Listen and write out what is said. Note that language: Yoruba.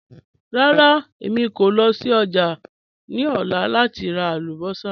Rárá, èmi kò lọ sí ọ́jà̀ ni ọ̀lá láti rà àlùbọ́ṣà.